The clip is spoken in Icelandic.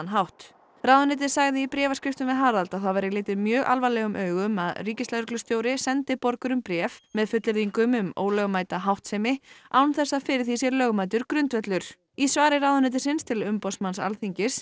hátt ráðuneytið sagði í bréfaskriftum við Harald að það væri litið mjög alvarlegum augum að ríkislögreglustjóri sendi borgurum bréf með fullyrðingum um ólögmæta háttsemi án þess að fyrir því sé lögmætur grundvöllur í svari ráðuneytisins til umboðsmanns Alþingis